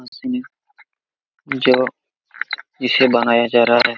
जो इसे बनाया जा रहा है।